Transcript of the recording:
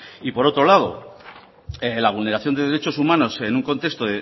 y por otro lado la vulneración de derechos humanos en un contexto